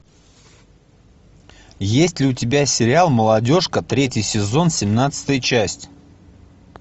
есть ли у тебя сериал молодежка третий сезон семнадцатая часть